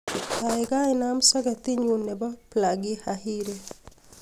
gaigai inaam soketit nyun nebo plagi hahiri